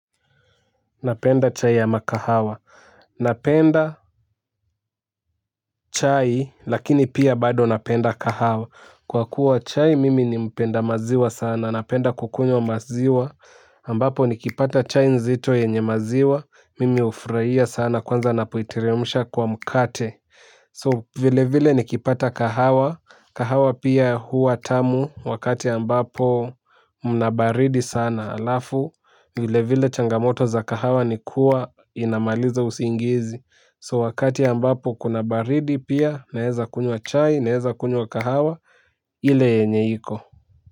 Napenda chai ya ama kahawa. Napenda chai lakini pia bado napenda kahawa. Kwa kuwa chai mimi ni mpenda maziwa sana. Napenda kukunywa maziwa. Ambapo nikipata chai nzito yenye maziwa. Mimi hufurahia sana kwanza napoiteremsha kwa mkate. So vile vile nikipata kahawa, kahawa pia hua tamu wakati ambapo mna baridi sana alafu vile vile changamoto za kahawa nikua inamaliza usingizi So wakati ambapo kuna baridi pia naeza kunywa chai, naeza kunywa kahawa, ile yenye iko.